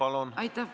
Aitäh!